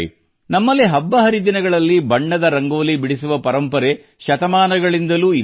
ನಮ್ಮಲ್ಲಿ ಹಬ್ಬಹರಿದಿನಗಳಲ್ಲಿ ಬಣ್ಣದ ರಂಗೋಲಿ ಬಿಡಿಸುವ ಪರಂಪರೆ ಶತಮಾನಗಳಿಂದಲೂ ಇದೆ